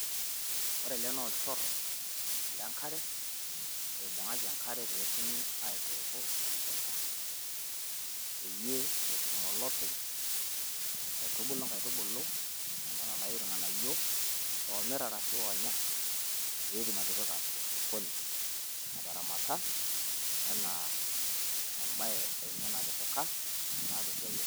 Ore ele naa olchorro le nkare oibung`aki enkare pee etumi aitooko e mukunta peyie etum olopeny aitubulu nkaitubulu e nena naayiu ilng`anayio oomirr ashu loonya pee etum atipika osokoni etaramata enaa ebaye enye natipika naa toseia.